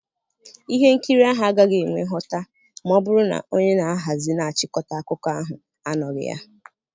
Ihe nkiri ahụ agaghị enwe nghota ma ọ bụrụ na onye ga ahazi na chịkọta akụkọ ahụ anọghị ya.